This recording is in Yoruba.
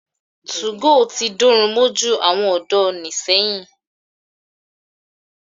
2go tí dórun mójú àwọn ọ̀dọ́ ni sẹ́yìn.